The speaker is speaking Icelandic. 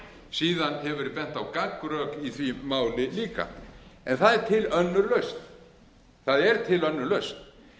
síðan hefur verið bent á gagnrök í því máli líka en það er til önnur lausn